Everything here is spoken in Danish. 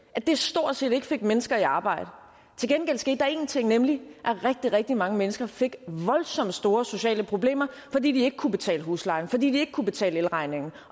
at det stort set ikke fik mennesker i arbejde til gengæld skete der en ting nemlig at rigtig rigtig mange mennesker fik voldsomt store sociale problemer fordi de ikke kunne betale huslejen fordi de ikke kunne betale elregningen